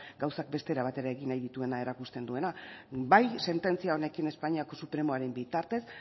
gauzak beste era batera egin nahi dituena erakusten duena bai sententzia honekin espainiako supremoaren bitartez